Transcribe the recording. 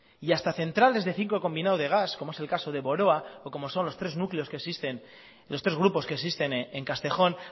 y hasta centrales de ciclo combinado de gas como es el caso de boroa o como son los tres grupos que existen en castejón